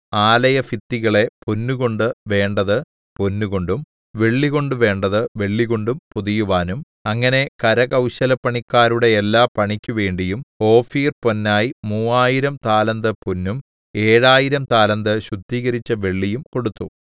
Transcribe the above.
ആലയഭിത്തികളെ പൊന്നുകൊണ്ടു വേണ്ടത് പൊന്നുകൊണ്ടും വെള്ളികൊണ്ടു വേണ്ടത് വെള്ളികൊണ്ടും പൊതിയുവാനും അങ്ങനെ കരകൗശലപ്പണിക്കാരുടെ എല്ലാ പണിയ്ക്കുവേണ്ടിയും ഓഫീർപൊന്നായി മൂവായിരം 3000 താലന്ത് പൊന്നും ഏഴായിരം 7000 താലന്ത് ശുദ്ധീകരിച്ച വെള്ളിയും കൊടുത്തു